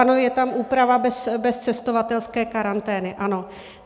Ano, je tam úprava bez cestovatelské karantény, ano.